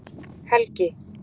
Helgi